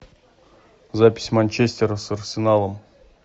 запись манчестера с арсеналом